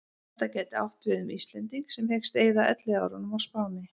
Þetta gæti átt við um Íslending sem hyggst eyða elliárunum á Spáni.